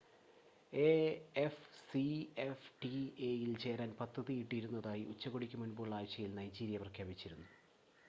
എഎഫ്സിഎഫ്ടിഎ-യിൽ ചേരാൻ പദ്ധതിയിട്ടിരുന്നതിനായി ഉച്ചകോടിക്ക് മുൻപുള്ള ആഴ്ചയിൽ നൈജീരിയ പ്രഖ്യാപിച്ചിരുന്നു